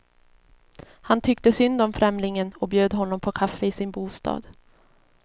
Han tyckte synd om främlingen och bjöd honom på kaffe i sin bostad.